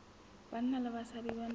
banna le basadi ba na